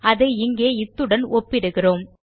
இதை இங்கே இத்துடன் ஒப்பிடுகிறோம்